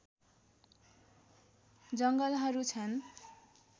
जङ्गलहरू छन्